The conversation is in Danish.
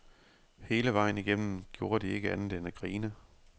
Hele vejen igennem gjorde de ikke andet end at grine.